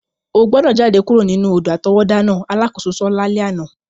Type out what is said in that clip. O gbọ́dọ̀ jade kuro nínú odò-àtọwọ́dá náà! alakoso so lalẹ àná.